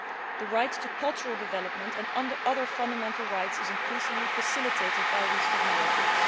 The right to cultural development and other fundamental rights is increasingly facilitated by these technologies.